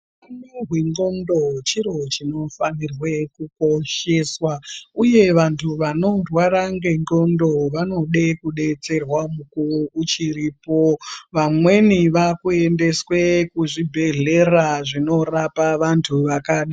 Utano hwendxondo chiro chinofanirwe kukosheswa uye vantu vanorwara ngendxondo vonode kudetserwa mukuwo uchiripo vamweni vakuendeswe kuzvibhedhlera zvinorapa vantu vakadaro.